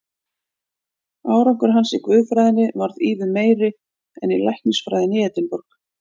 Árangur hans í guðfræðinni varð ívið meiri en í læknisfræðinni í Edinborg.